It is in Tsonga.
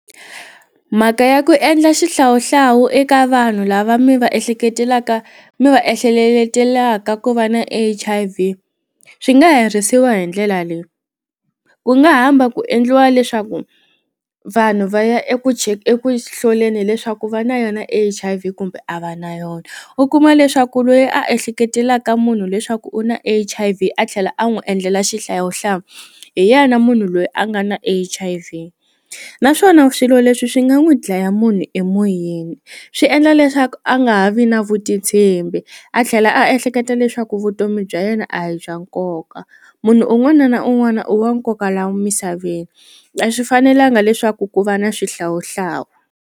Mhaka ya ku endla xihlawuhlawu eka vanhu lava mi va ehleketelaka mi va ehleleletelaka ku va na H_I_V swi nga herisiwa hi ndlela leyi, ku nga hamba ku endliwa leswaku vanhu va ya eku eku hloleni leswaku va na yona H_I_V kumbe a va na yona u kuma leswaku loyi a ehleketelaka munhu leswaku u na H_I_V a tlhela a n'wi endlela xihlawuhlawu hi yena munhu loyi a nga na H_I_V naswona swilo leswi swi nga n'wi dlaya munhu emoyeni swi endla leswaku a nga ha vi na vutitshembi a tlhela a ehleketa leswaku vutomi bya yena a hi bya nkoka munhu un'wana na un'wana u wa nkoka la misaveni a swi fanelanga leswaku ku va na swihlawuhlawu.